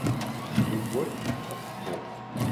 любовь как спорт